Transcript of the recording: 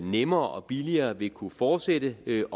nemmere og billigere vil kunne fortsætte helt